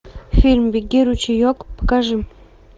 фильм беги ручеек покажи